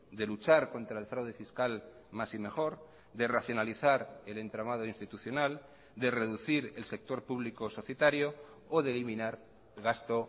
de luchar contra el fraude fiscal más y mejor de racionalizar el entramado institucional de reducir el sector público societario o de eliminar gasto